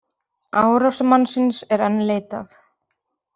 Árásarmannsins er enn leitað